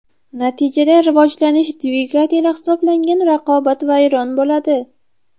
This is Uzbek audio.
Natijada rivojlanish dvigateli hisoblangan raqobat vayron bo‘ladi.